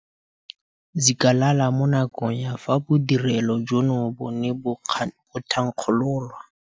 Zikalala mo nakong ya fa bodirelo jono bo ne bo thankgololwa.